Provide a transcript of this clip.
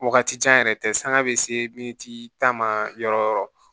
Wagati jan yɛrɛ tɛ sanga bɛ se tan ma yɔrɔ o yɔrɔ